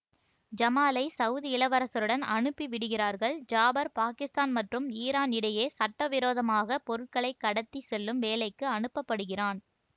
ஜமாலை Saudi இளவரசருடன் அனுப்பி விடுகிறார்கள் ஜாபர் பாக்கிஸ்தான் மற்றும் ஈரான் இடையே சட்டவிரோதமாக பொருட்களை கடத்தி செல்லும் வேலைக்கு அனுப்பப்படுகிறான்